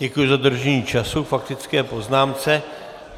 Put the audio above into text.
Děkuji za dodržení času k faktické poznámce.